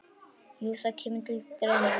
Jú, það kemur til greina.